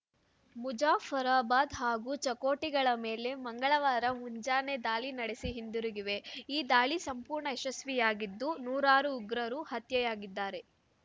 ಮುಜಾಫರಾಬಾದ್‌ ಹಾಗೂ ಚಕೋಟಿಗಳ ಮೇಲೆ ಮಂಗಳವಾರ ಮುಂಜಾನೆ ದಾಳಿ ನಡೆಸಿ ಹಿಂದಿರುಗಿವೆ ಈ ದಾಳಿ ಸಂಪೂರ್ಣ ಯಶಸ್ವಿಯಾಗಿದ್ದು ನೂರಾರು ಉಗ್ರರು ಹತ್ಯೆಯಾಗಿದ್ದಾರೆ